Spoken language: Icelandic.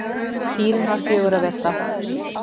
Kýrin var fjögurra vetra.